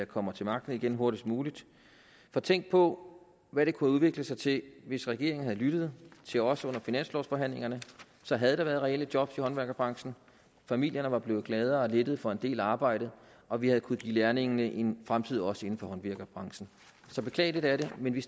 kommer til magten igen hurtigst muligt for tænk på hvad det kunne have udviklet sig til hvis regeringen havde lyttet til os under finanslovforhandlingerne så havde der været reelle job i håndværkerbranchen familierne var blevet gladere og lettet for en del arbejde og vi havde kunnet give lærlingene en fremtid også inden for håndværkerbranchen så beklageligt er det men vi